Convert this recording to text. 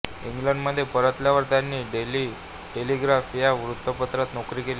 इंग्लंडमध्ये परतल्यावर त्यांनी डेली टेलिग्राफ या वृत्तपत्रात नोकरी केली